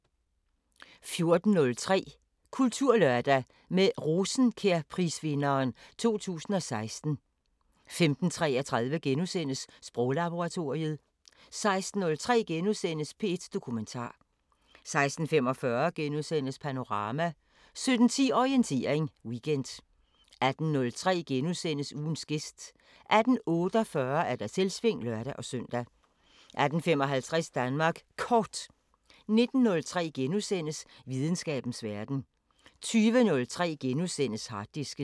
14:03: Kulturlørdag – med Rosenkjærprisvinderen 2016 15:33: Sproglaboratoriet * 16:03: P1 Dokumentar * 16:45: Panorama * 17:10: Orientering Weekend 18:03: Ugens gæst * 18:48: Selvsving (lør-søn) 18:55: Danmark Kort 19:03: Videnskabens Verden * 20:03: Harddisken *